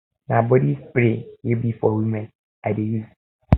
na body spray wey be for women i dey use